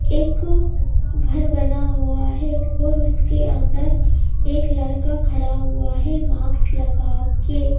एक घर बना हुआ है और उसके अंदर एक लड़का खड़ा हुआ है मार्क्स लगा के--